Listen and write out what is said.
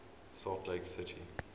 salt lake city